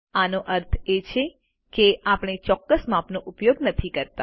આનો અર્થ છે કે આપણે ચોક્કસ માપનો ઉપયોગ નથી કરતા